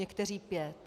Někteří pět.